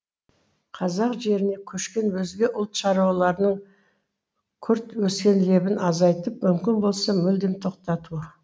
қазақ жеріне көшкен өзге ұлт шаруаларының күрт өскен лебін азайтып мүмкін болса мүлдем тоқтату